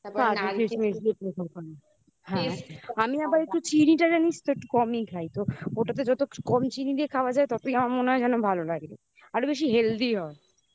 তারপর হ্যাঁ অনেকে কিসমিস দিয়ে paper করে আমি আবার একটু চিনি তো একটু কমই খাই তো ওটাতে যত কম চিনি দিয়ে খাওয়া যায় ততই আমার মনে হয় যেন ভালো লাগে আরো বেশি healthy হয়